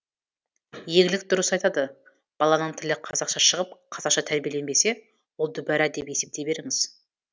еңлік дұрыс айтады баланың тілі қазақша шығып қазақша тәрбиеленбесе ол дүбәрә деп есептей беріңіз